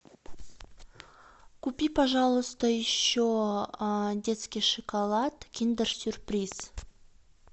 купи пожалуйста еще детский шоколад киндер сюрприз